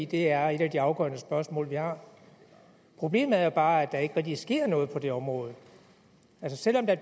det er et af de afgørende spørgsmål vi har problemet er jo bare at der ikke rigtig sker noget på det område altså selv om der